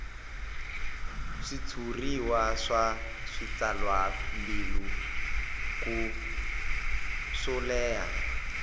switshuriwa swa switsalwambiko swo leha